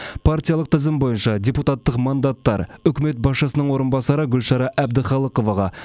партиялық тізім бойынша депутаттық мандаттар үкімет басшысының орынбасары гүлшара әбдіқалықоваға